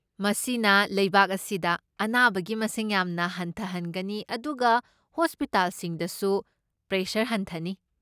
ꯃꯁꯤꯅ ꯂꯩꯕꯥꯛ ꯑꯁꯤꯗ ꯑꯅꯥꯕꯒꯤ ꯃꯁꯤꯡ ꯌꯥꯝꯅ ꯍꯟꯊꯍꯟꯒꯅꯤ ꯑꯗꯨꯒ ꯍꯣꯁꯄꯤꯇꯥꯜꯁꯤꯡꯗꯁꯨ ꯄ꯭ꯔꯦꯁꯔ ꯍꯟꯊꯅꯤ꯫